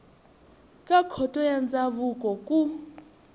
ka khoto ya ndzhavuko ku